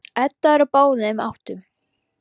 Edda er á báðum áttum.